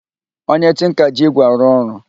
Onye tinka ji ígwè arụ ọrụ